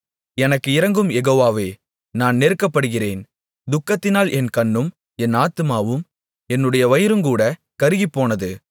எனக்கு இரங்கும் யெகோவாவே நான் நெருக்கப்படுகிறேன் துக்கத்தினால் என் கண்ணும் என் ஆத்துமாவும் என்னுடைய வயிறுங்கூடக் கருகிப்போனது